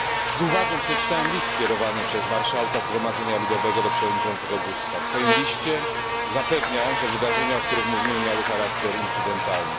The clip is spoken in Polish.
Z uwagą przeczytałem list skierowany przez marszałka Zgromadzenia Ludowego do przewodniczącego Buzka. W swoim liście zapewnia on, że wydarzenia o których mówiłem miały charakter incydentalny.